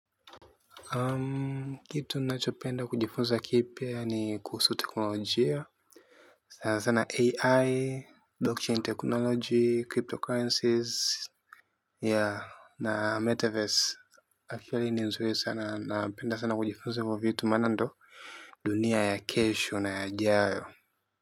Kitu nachopenda kujifunza kipya ni kuhusu teknolojia, sana sana AI, blockchain technology, cryptocurrencies, ya na Metaverse, akili ni nzuri sana, napenda sana kujifunza ivi vitu mana ndo dunia ya kesho na ya jayo.